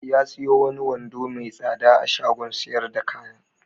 Ya siyo wani wando mai tsada a shagon sayar da kaya.